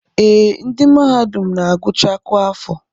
Ee, ndị mahadum na-agụcha kwa afọ